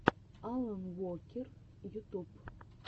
алан уокер ютуб